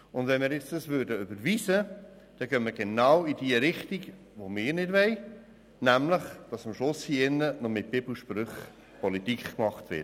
Wenn wir das Postulat nun überweisen, dann gehen wir genau in die Richtung, die wir nicht wollen, nämlich, dass am Schluss hier im Grossen Rat noch mit Bibelsprüchen Politik gemacht wird.